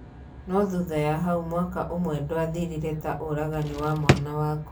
No thutha ya hau mwaka ũmwe ndwathirire ta uragani wa mwana waku.